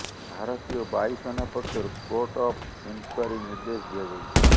ଭାରତୀୟ ବାୟୁ ସେନା ପକ୍ଷରୁ କୋର୍ଟ ଅଫ୍ ଇନକ୍ୱାରୀ ନିର୍ଦ୍ଦେଶ ଦିଆଯାଇଛି